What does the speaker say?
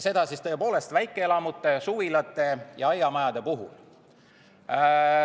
Seda siis tõepoolest väikeelamute, suvilate ja aiamajade puhul.